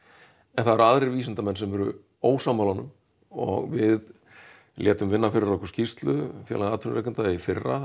en það eru aðrir vísindamenn sem eru ósammála honum og við létum vinna fyrir okkur skýrslu Félag atvinnurekenda í fyrra